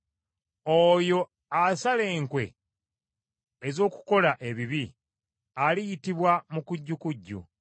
Oyo asala enkwe ez’okukola ebibi, aliyitibwa mukujjukujju.